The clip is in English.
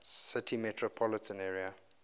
city metropolitan area